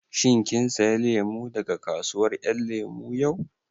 Shin kin saya lemu daga kasuwar ƴan lemu yau?